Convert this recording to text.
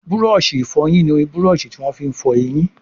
Búrọ̀ọ̀ṣì ìfọyín ní Búrọ̀ọ̀ṣì tí wón fí fọ ẹyìn.